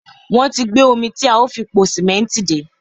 wọ́n ti gbé omi tí a ó fi po sìmẹ́ǹtì dé.